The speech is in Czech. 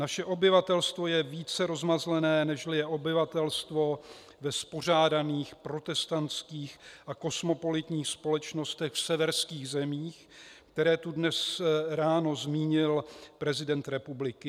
Naše obyvatelstvo je více rozmazlené, nežli je obyvatelstvo ve spořádaných protestantských a kosmopolitních společnostech v severských zemích, které tu dnes ráno zmínil prezident republiky.